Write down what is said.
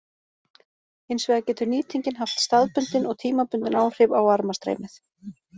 Hins vegar getur nýtingin haft staðbundin og tímabundin áhrif á varmastreymið.